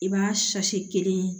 I b'a kelen ye